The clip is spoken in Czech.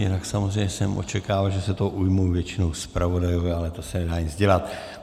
Jinak samozřejmě jsem očekával, že se toho ujmou většinou zpravodajové, ale to se nedá nic dělat.